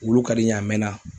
Wulu ka di n ye a mɛnna.